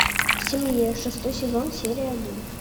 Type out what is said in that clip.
в семье шестой сезон серия один